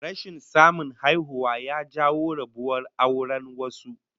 Rashin samun haihuwa ya jawo rabuwar auren wasu